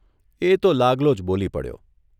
એ તો લાગલો જ બોલી પડ્યોઃ